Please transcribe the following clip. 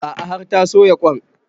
A'a har ta soya ƙwain